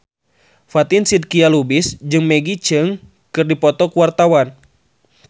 Fatin Shidqia Lubis jeung Maggie Cheung keur dipoto ku wartawan